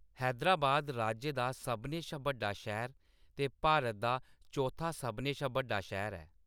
हैदराबाद राज्य दा सभनें शा बड्डा शैह्‌र ते भारत दा चौथा सभनें शा बड्डा शैह्‌र ऐ।